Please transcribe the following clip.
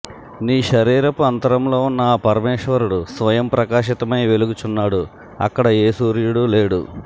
నీ శరీరపు అంతరంలో వున్న ఆ పరమేశ్వరుడు స్వయం ప్రకాశితమై వెలుగుచున్నాడు అక్కడ ఏ సూర్యుడు లేడు